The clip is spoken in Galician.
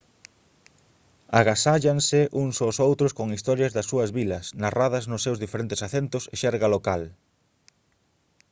agasállanse uns aos outros con historias das súas vilas narradas nos seus diferentes acentos e xerga local